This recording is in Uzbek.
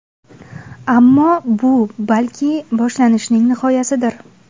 Ammo bu, balki, boshlanishning nihoyasidir.